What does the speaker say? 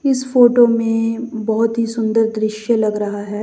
इस फोटो में बहोत ही सुंदर दृश्य लग रहा है।